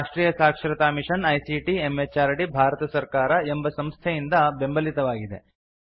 ಇದು Rashtriya Saksharata mission ICT MHRD Bharat ಸರ್ಕಾರ ಎಂಬ ಸಂಸ್ಥೆಯಿಂದ ಬೆಂಬಲಿತವಾಗಿದೆ